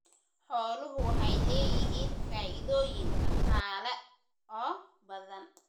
Xooluhu waxay leeyihiin faa'iidooyin dhaqaale oo badan.